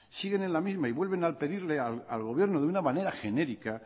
siguen en la misma y vuelven a pedirle al gobierno de una manera genérica